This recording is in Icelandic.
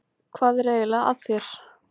Hvað er eiginlega að þér?